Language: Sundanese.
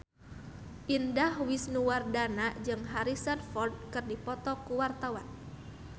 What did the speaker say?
Indah Wisnuwardana jeung Harrison Ford keur dipoto ku wartawan